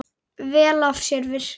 Vel af sér vikið.